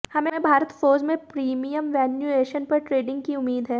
हमें भारत फोर्ज में premium valuation पर ट्रेडिंग की उम्मीद है